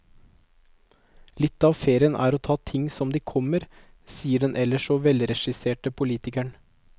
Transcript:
Litt av ferien er å ta ting som de kommer, sier den ellers så velregisserte politikeren.